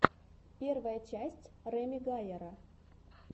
первая часть реми гайяра